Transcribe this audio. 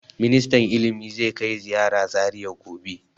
Ministan ilimi zai kai ziyara Zariya gobe.